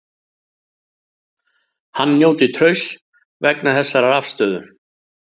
Hann njóti trausts vegna þessarar afstöðu